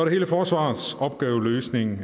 hele forsvarets opgaveløsning